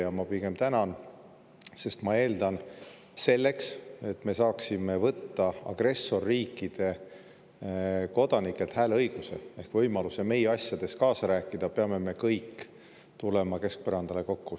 Ja ma tänan, sest ma eeldan, et selleks, et me saaksime võtta agressorriikide kodanikelt hääleõiguse ehk võimaluse meie asjades kaasa rääkida, peame me kõik tulema keskpõrandale kokku.